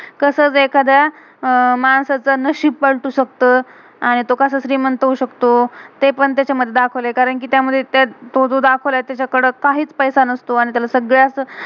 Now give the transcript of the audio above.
कसं एखाद्या अह मांसाचा नशीब पलटू शकतो, आणि तो कसं श्रीमंत होऊ शकतो. ते पण तेच्या मधे दाखवलय. कारण कि त्यामधे तो जो दाखवलाय, तेच्याकडे काहीच पैस्सा नसतो, आणि त्याला सगळ्याच